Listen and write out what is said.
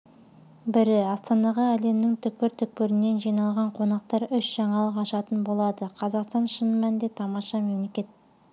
бірі астанаға әлемнің түкпір-түкпірінен жиналған қонақтар үш жаңалық ашатын болады қазақстан шын мәнінде тамаша мемлекет